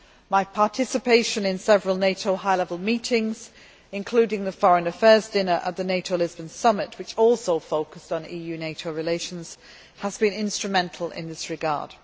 My participation in several NATO high level meetings, including the Foreign Affairs dinner at the NATO Lisbon summit, which also focused on EU NATO relations, has been instrumental in this regard.